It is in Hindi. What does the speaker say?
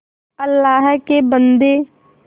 अल्लाह के बन्दे